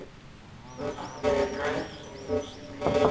Hvort þau rættust veit enginn.